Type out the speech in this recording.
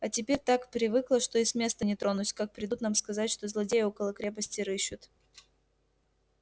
а теперь так привыкла что и с места не тронусь как придут нам сказать что злодеи около крепости рыщут